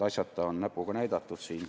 Asjata on siin näpuga näidatud.